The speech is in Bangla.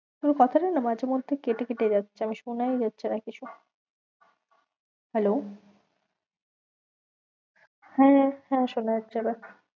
তোর কথাটা না মাঝেমধ্যে কেটে কেটে যাচ্ছে, আমি শোনাই যাচ্ছে না কিছু hello শুনতে পাচ্ছিস hello হ্যাঁ হ্যাঁ শোনা যাচ্ছে এবার।